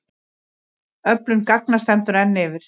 Öflun gagna stendur enn yfir.